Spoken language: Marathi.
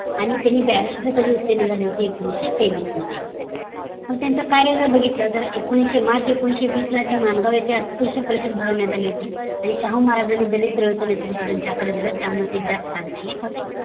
आणि त्यांनी ब्यारीष्ट्र कधी झाली होती तर एकोणीशे तेवीस मध्ये मग त्यांचं कार्य जर बघितलं तर मार्च एकोणीसे बीस ला जे mango चा भरवण्यात अली होती आणि शाहूमहाराज यांनी त्याच नेतृत्व त्यांच्या हात खाली दिल त्यामुळे ते जास्त लाकड्याला होते